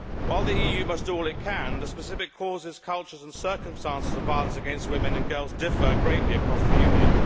While the EU must do all it can, the specific causes, cultures and circumstances of violence against women and girls differ greatly across the Union.